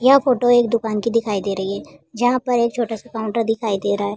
यह फोटो एक दुकान की दिखाई दे रही है जहां पर एक छोटा सा काउन्टर दिखाई दे रहा है।